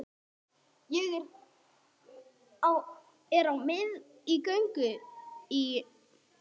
Ég er mikið á göngu í